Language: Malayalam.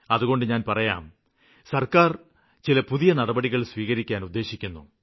അതുകൊണ്ട് ഞാന് പറയാം സര്ക്കാര് ചില പുതിയ നടപടികള് സ്വീകരിക്കാന് ഉദ്ദേശിക്കുന്നു